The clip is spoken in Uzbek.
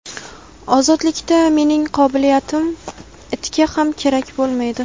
Ozodlikda mening qobiliyatlarim itga ham kerak bo‘lmaydi.